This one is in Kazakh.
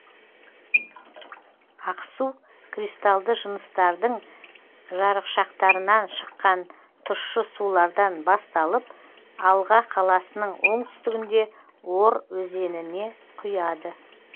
ақсу кристалды жыныстардың жарықшақтарынан шыққан тұщы сулардан басталып алға қаласының оңтүстігінде ор өзеніне құяды